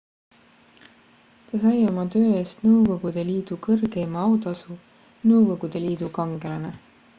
ta sai oma töö eest nõukogude liidu kõrgeima autasu nõukogude liidu kangelane